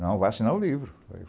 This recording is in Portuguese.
Não, vou assinar o livro.